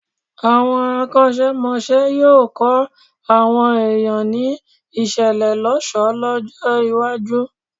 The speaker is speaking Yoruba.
Àwọn akọ́ṣẹ́mọṣẹ́ yóò kọ́ àwọn èìyàn ní ìṣelélọ́ṣọ̀ọ́ lọ́jọ́-iwájú.